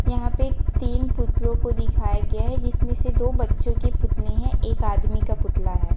यहाँ पे तीन पुतलो को दिखाया गया है जिसमे से दो बच्चो के पुतले है एक आदमी का पुतला है।